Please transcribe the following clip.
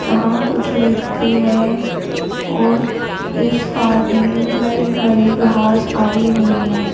यहां कुछ व्यक्ति है और इस पार्क में बड़ी बड़ी घास आई हुई है।